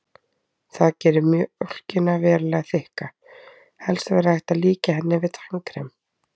Það gerir mjólkina verulega þykka, helst væri hægt að líkja henni við tannkrem.